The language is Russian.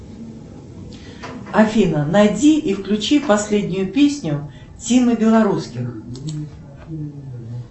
афина найди и включи последнюю песню тимы белорусских